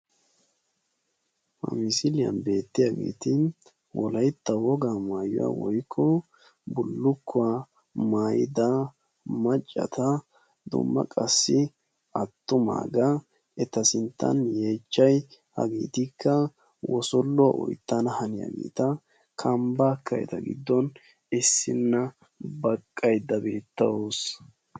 ha misiiyan beetiyaageeti wolaytta wogaa maayuwa woykko bullukkuwa maayida attumaagaa besees. haraykka kambaakka eta gidon baqaydda beetawusu.